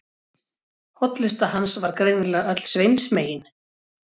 Hollusta hans var greinilega öll Sveins megin.